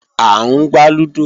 À ń gbá lúdò